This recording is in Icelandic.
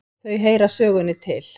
Þau heyra sögunni til.